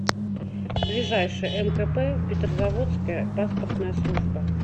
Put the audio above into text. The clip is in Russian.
ближайший мкп петрозаводская паспортная служба